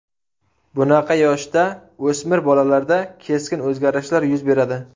Bunaqa yoshda o‘smir bolalarda keskin o‘zgarishlar yuz beradi.